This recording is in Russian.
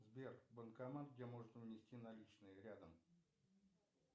сбер банкомат где можно внести наличные рядом